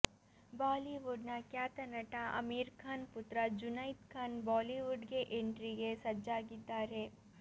Bollywood ನ ಖ್ಯಾತ ನಟ ಆಮೀರ್ ಖಾನ್ ಪುತ್ರ ಜುನೈದ್ ಖಾನ್ ಬಾಲಿವುಡ್ ಗೆ ಎಂಟ್ರಿಗೆ ಸಜ್ಜಾಗಿದ್ದಾರೆ